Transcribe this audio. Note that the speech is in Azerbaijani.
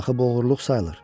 Axı bu oğurluq sayılır.